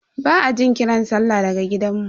Ba a jin kiran sallah daga gidanmu.